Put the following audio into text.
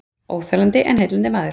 Óþolandi en heillandi maður